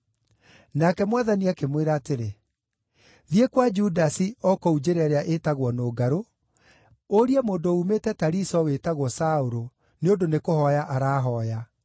Nake Mwathani akĩmwĩra atĩrĩ, “Thiĩ kwa Judasi o kũu njĩra ĩrĩa ĩtagwo Nũngarũ, ũrie mũndũ uumĩte Tariso wĩtagwo Saũlũ, nĩ ũndũ nĩkũhooya arahooya.